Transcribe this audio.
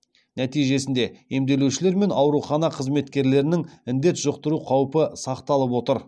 нәтижесінде емделушілер мен аурухана қызметкерлерінің індет жұқтыру қаупі сақталып отыр